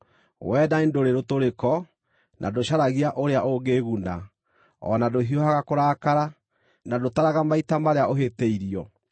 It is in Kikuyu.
Wendani ndũrĩ rũtũrĩko, na ndũcaragia ũrĩa ũngĩĩguna, o na ndũhiũhaga kũrakara, na ndũtaraga maita marĩa ũhĩtĩirio.